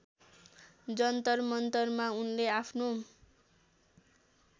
जन्तरमन्तरमा उनले आफ्नो